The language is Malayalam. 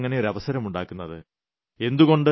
എന്തിനാണ് നമ്മൾ അങ്ങിനെയൊരവസരം ഉണ്ടാക്കുന്നത്